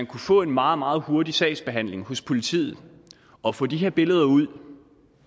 kunne få en meget meget hurtig sagsbehandling hos politiet og få de her billeder ud